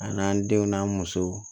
A n'an denw n'an musow